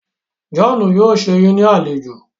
John yóò sé yín ní alejò.